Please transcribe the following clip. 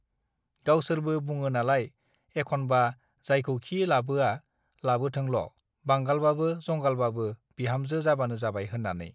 गावसोरबो बुङो नालाय एखनबा जायखौखि लाबोया लाबोथोंल बांगालबाबो जंगालबाबो बिहामजो जाबानो जाबाय होन्नानै